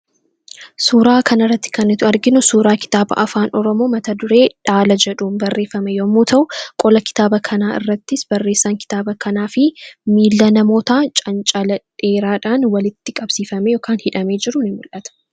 Suuraa kanarratti kan nuti arginu suuraa kitaaba afaan oromoo mat-dureen isaa dhaala jedhuun barreeffame yoo ta'u, qola kitaaba kanarrattis barreessan kitaaba kanaa fi miila namootaan canacaladheeraan walitti hidhamee jirudha.